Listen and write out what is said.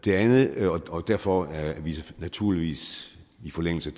og derfor er vi naturligvis i forlængelse